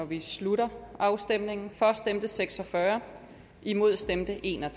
vi slutter afstemningen for stemte seks og fyrre imod stemte en og